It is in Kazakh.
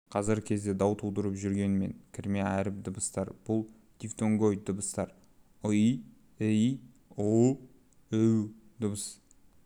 қазіргі кезде дау тудырып жүрген мен кірме әріп-дыбыстар бұл дифтонгоид дыбыстар ый ій ұу үу дыбыс